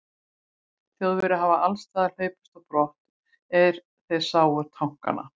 Þjóðverjar hafi allsstaðar hlaupist á brott, er þeir sáu tankana.